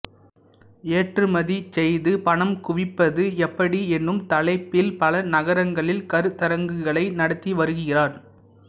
ஏற்றுமதி செய்து பணம் குவிப்பது எப்படி எனும் தலைப்பில் பல நகரங்களில் கருத்தரங்குகளை நடத்தி வருகிறார்